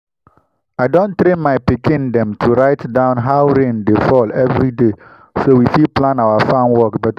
i don train my pikin dem to write down how rain dey fall every day so we fit plan our farm work better.